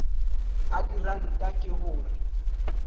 a diranta ke ho re